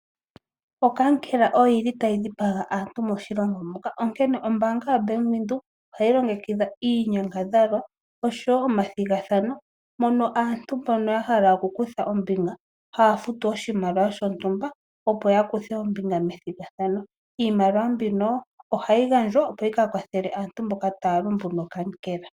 Okankela oyili tayi dhipaga aantu moshilongo muka, onkene ombaanga yoBank Windhoek ohayi longekidha iinyangadhalwa oshowo omathigathano mono aantu mbono yahala okukutha ombinga, haafutu oshimaliwa shontumba opo yakuthe ombinga methigathano. Iimaliwa mbino ohayi gandjwa opo yika kwathele aantu mboka taya lumbu nokankela.